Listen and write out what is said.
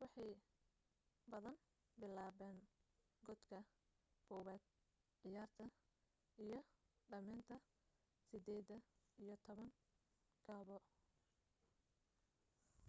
waxay badan bilaaban godka kobad ciyaarta iyo dhameynta sideed iyo toban kaba